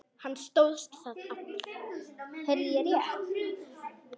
Hann stóðst það afl.